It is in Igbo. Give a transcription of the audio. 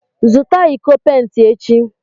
Zụta iko pent echi!